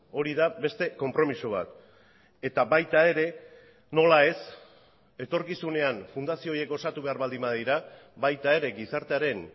hori da beste konpromiso bat eta baita ere nola ez etorkizunean fundazio horiek osatu behar baldin badira baita ere gizartearen